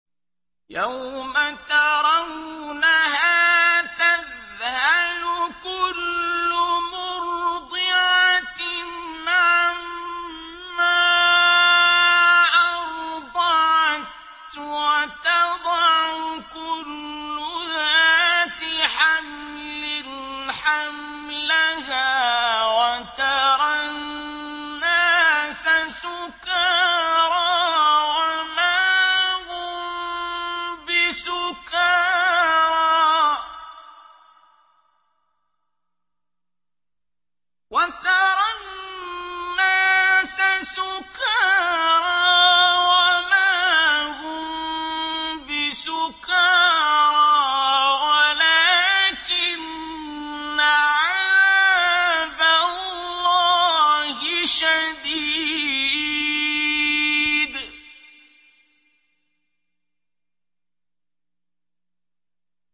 يَوْمَ تَرَوْنَهَا تَذْهَلُ كُلُّ مُرْضِعَةٍ عَمَّا أَرْضَعَتْ وَتَضَعُ كُلُّ ذَاتِ حَمْلٍ حَمْلَهَا وَتَرَى النَّاسَ سُكَارَىٰ وَمَا هُم بِسُكَارَىٰ وَلَٰكِنَّ عَذَابَ اللَّهِ شَدِيدٌ